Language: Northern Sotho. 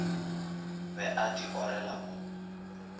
be a di orela mo